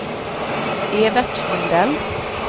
Evert Lundell